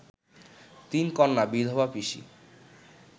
তিন কন্যা, বিধবা পিসি